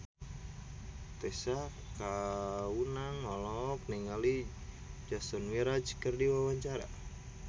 Tessa Kaunang olohok ningali Jason Mraz keur diwawancara